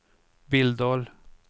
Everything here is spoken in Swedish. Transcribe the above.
Billdal